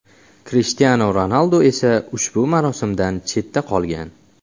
Krishtianu Ronaldu esa ushbu marosimdan chetda qolgan.